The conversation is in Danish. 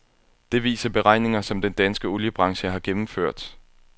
Det viser beregninger, som den danske oliebranche har gennemført.